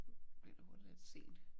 Bliver det hurtigt lidt sent